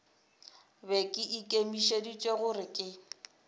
be ke ikemišeditše gore ke